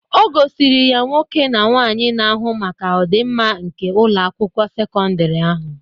O gosiri ya nwoke na nwaanyị na-ahụ maka ọdimma nke Ụlọ akwụkwọ sekọndrị ahụ.